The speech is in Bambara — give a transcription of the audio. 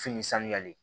Fini sanuyalen